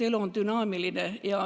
Elu on dünaamiline.